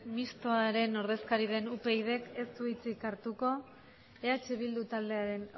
mistoa upydk ez u hitzik hartuko eh bildu taldearen